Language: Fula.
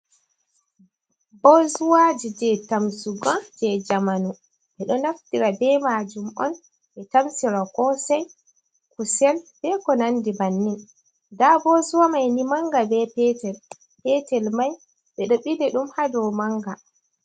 Boozuwaji je tamsugo je jamanu, ɓe ɗo naftira ɓe majum un ɓe tamsira kosai, kusel ɓe konandi bannin. Nda boozuwa mai ni manga be petel, petel mai ɓe ɗo bili dum ha dau manga.